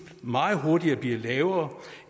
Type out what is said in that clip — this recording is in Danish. meget hurtigt blive lavere